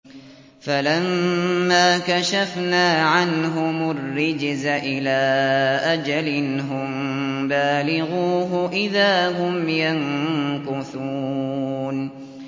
فَلَمَّا كَشَفْنَا عَنْهُمُ الرِّجْزَ إِلَىٰ أَجَلٍ هُم بَالِغُوهُ إِذَا هُمْ يَنكُثُونَ